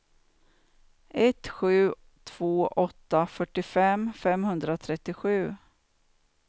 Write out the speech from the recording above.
ett sju två åtta fyrtiofem femhundratrettiosju